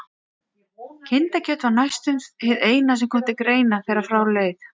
Kindakjöt var því næstum hið eina sem til greina kom þegar frá leið.